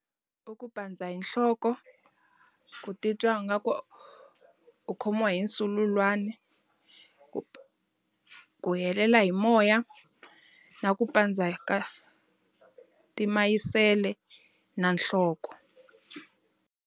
I ku pandza hi nhloko, ku titwa nga ku u khomiwa hi sululwana, ku ku helela hi moya, na ku pandza ka timayisele na nhloko.